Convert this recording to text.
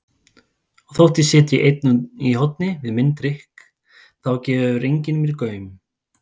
Og þótt ég sitji einn í horni við minn drukk þá gefur enginn mér gaum.